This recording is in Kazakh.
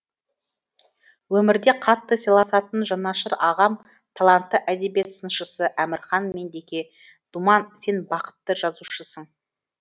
өмірде қатты сыйласатын жанашыр ағам талантты әдебиет сыншысы әмірхан меңдеке думан сен бақытты жазушысың